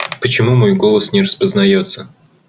почему мой голос не распознаётся